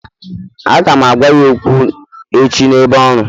Aga m agwa ya okwu echi n'ebe ọrụ